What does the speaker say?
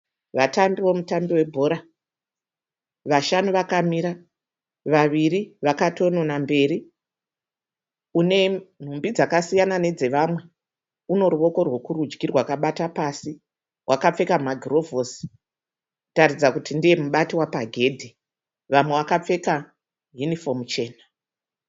Vatambi vemutambi webhora. Vashanu vakamira, vaviri vakatonona mberi. Unenhumbi dzakasiyana nedzevamwe, unoruoko rwekurudyi rwakabata pasi. Wakapfeka magirovhosi kutaridza kuti ndiye mubati wapagedhi. Vamwe vakapfeka yunifomu chena.